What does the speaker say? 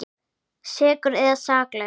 Sekur eða saklaus?